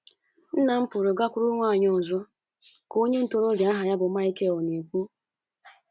Nna m pụrụ gakwuru nwanyị ọzọ, ka onye ntorobịa aha ya bụ Michael na - ekwu.